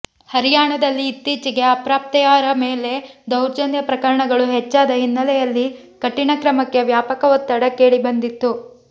ಹರಿಯಾಣದಲ್ಲಿ ಇತ್ತೀಚೆಗೆ ಅಪ್ರಾಪ್ತೆಯರ ಮೇಲೆ ದೌರ್ಜನ್ಯ ಪ್ರಕರಣಗಳು ಹೆಚ್ಚಾದ ಹಿನ್ನಲೆಯಲ್ಲಿ ಕಠಿಣ ಕ್ರಮಕ್ಕೆ ವ್ಯಾಪಕ ಒತ್ತಡ ಕೇಳಿ ಬಂದಿತ್ತು